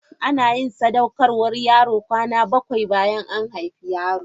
Ana yin sadaukarwar yaro kwana bakwai bayan an haifi yaron.